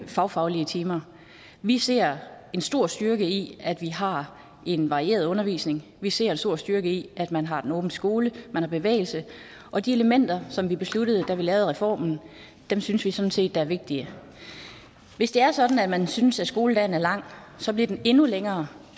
fagfaglige timer vi ser en stor styrke i at vi har en varieret undervisning vi ser en stor styrke i at man har en åben skole at man har bevægelse og de elementer som vi besluttede da vi lavede reformen synes vi sådan set er vigtige hvis det er sådan at man synes at skoledagen er lang så bliver den endnu længere